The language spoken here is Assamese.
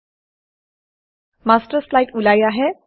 মাষ্টাৰ শ্লাইড মাষ্টাৰ শ্লাইড ওলাই আহে